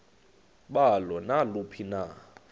balo naluphi na